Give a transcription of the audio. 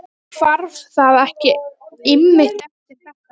Hvarf það ekki einmitt eftir þetta?